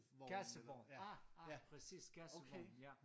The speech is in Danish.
Kassevogn ah ah præcis kassevogn ja